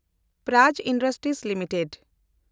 prize Industries limited